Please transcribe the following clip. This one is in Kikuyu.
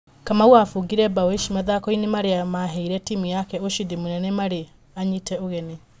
Kamau abungire mbao ici mathakoinĩ marĩa maheire timũ yake ũcindi mũnene marĩ anyite ũgeni.